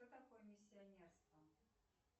что такое миссионерство